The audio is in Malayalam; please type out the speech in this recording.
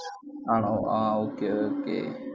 ആണോ ആഹ് okay okay